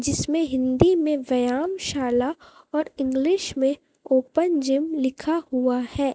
जिसमें हिंदी में व्यायाम शाला और इंग्लिश में ओपन जिम लिखा हुआ है।